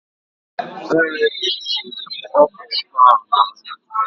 Ee, e tinyere m ọka ụtọ ahụ na nri.